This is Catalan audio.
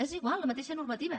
és igual la mateixa normativa